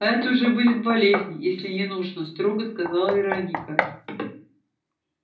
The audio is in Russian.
а это уже будет болезнь если не нужно строго сказала вероника